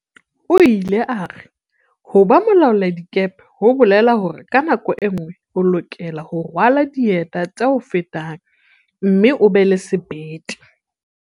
O ile a re, "ho ba mo laoladikepe ho bolela hore ka nako e nngwe o lokela ho rwala dieta tse o fetang mme o be le sebete."